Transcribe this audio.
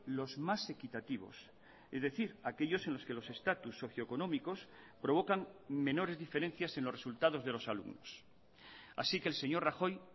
los más equitativos es decir aquellos en los que los estatus socio económicos provocan menores diferencias en los resultados de los alumnos así que el señor rajoy